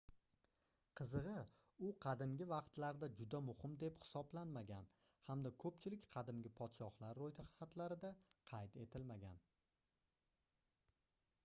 qizigʻi u qadimgi vaqtlarda juda muhim deb hisoblanmagan hamda koʻpchilik qadimgi podshohlar roʻyxatlarida qayd etilmagan